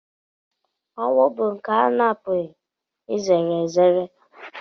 Ọnwụ bụ nke ana-apụghị izere ezere.